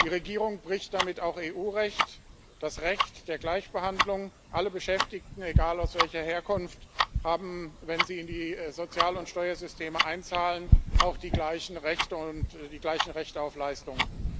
Die Regierung bricht damit auch EU Recht das Recht der Gleichbehandlung Alle Beschäftigten, egal welcher Herkunft, haben, wenn sie in die Sozial und Steuersysteme einzahlen, auch die gleichen Rechte und die gleichen Rechte auf Leistungen.